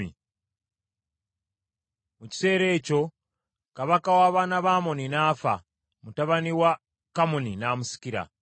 Mu kiseera ekyo kabaka w’abaana ba Amoni n’afa, mutabani we Kamuni n’amusikira.